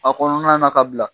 A kɔnɔna na ka bila